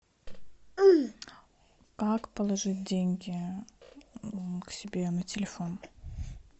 как положить деньги к себе на телефон